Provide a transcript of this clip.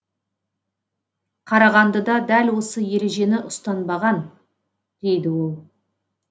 қарағандыда дәл осы ережені ұстанбаған дейді ол